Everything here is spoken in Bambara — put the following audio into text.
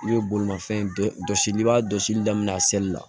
I bɛ bolimafɛn bɛɛ jɔsi n'i b'a jɔsili daminɛ a sɛli la